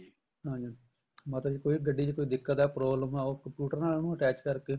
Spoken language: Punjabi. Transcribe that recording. ਹਾਂਜੀ ਮਤਲਬ ਕੋਈ ਗੱਡੀ ਚ ਦਿੱਕਤ ਆ ਕੋਈ problem ਆ computer ਨਾਲ ਉਹਨੂੰ attach ਕਰਕੇ